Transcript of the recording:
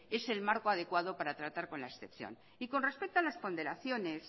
es el marco adecuada para tratar con la excepción y con respecto a las ponderaciones